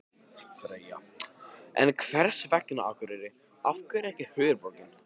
Freyja: En hvers vegna Akureyri, af hverju ekki höfuðborgin?